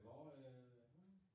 Hvor øh hvorhenne?